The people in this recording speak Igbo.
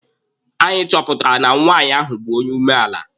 Anyị chọpụtara na nwaanyị ahụ bụ onye umeala.